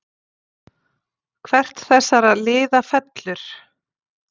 Hvert þessara liða fellur?